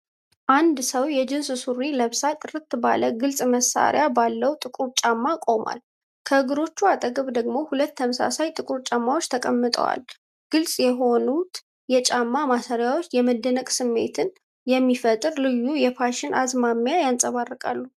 አንድ ሰው የጂንስ ሱሪ ለብሳ ጥርት ባለ ግልጽ ማሰሪያ ባለው ጥቁር ጫማ ቆሟል። ከእግሮቹ አጠገብ ደግሞ ሁለት ተመሳሳይ ጥቁር ጫማዎች ተቀምጠዋል። ግልጽ የሆኑት የጫማ ማሰሪያዎች የመደነቅ ስሜትን የሚፈጥር ልዩ የፋሽን አዝማሚያ ያንጸባርቃሉ።